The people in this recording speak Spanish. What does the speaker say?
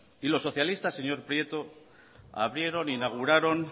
y los socialistas señor prieto abrireron e inauguraron